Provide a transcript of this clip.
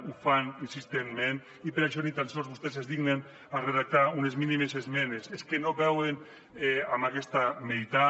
ho fan insistentment i per això ni tan sols vostès es dignen a redactar unes mínimes esmenes és que no veuen aquesta meitat